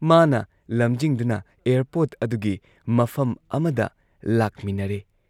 ꯂꯝꯖꯤꯡꯗꯨꯅ airport